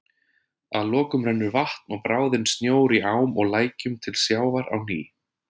Að lokum rennur vatn og bráðinn snjór í ám og lækjum til sjávar á ný.